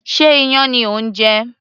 Sé iyán ni ò ń jẹ